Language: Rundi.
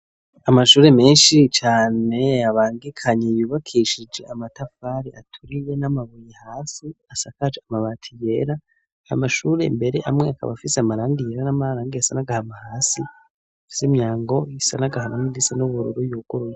Amashure menshi cane abangikanye yubakishije amatafari aturiye n'amabuye hasi asakaje amabati yera, amashuri mbere amwe akaba afise amarangi yera n'amararangi asa n'agahama hasi afise imyango isa n'agahama n'iyindi isa n'ubururu yuguruye.